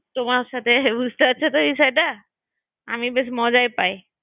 তোমার সাথে বুঝতে পারছো তো বিষয়টা আমি বেশ মজাই পাই আমি সব